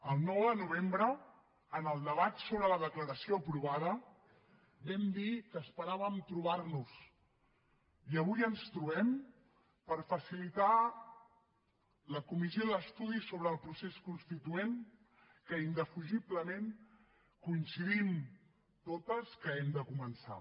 el nou de novembre en el debat sobre la declaració aprovada vam dir que esperàvem trobar nos i avui ens trobem per facilitar la comissió d’estudi sobre el procés constituent que indefugiblement coincidim totes que hem de començar